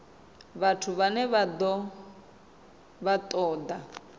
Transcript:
vhathu vhane vha ṱo ḓa